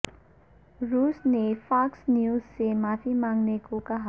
روس نے Fox News سے معافی مانگنے کو کہا